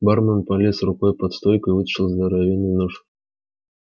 бармен полез рукой под стойку и вытащил здоровенный нож